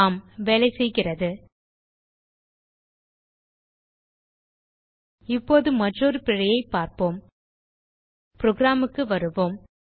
ஆம் வேலைசெய்கிறது இப்போது மற்றொரு பிழையைப் பார்ப்போம் புரோகிராம் க்கு வருவோம்